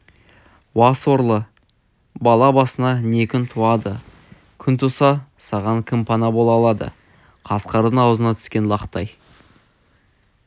уа сорлы бала басыңа не күн туады күн туса саған кім пана бола алады қасқырдың аузына түскен лақтай